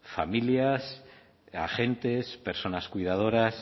familias agentes personas cuidadoras